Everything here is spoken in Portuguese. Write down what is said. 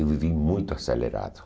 Eu vivi muito acelerado.